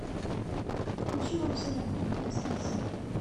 включи новый сериал на стс